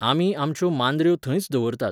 आमी आमच्यो मांद्र्यो थंयच दवरतात.